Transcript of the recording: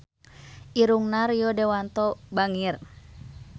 Irungna Rio Dewanto bangir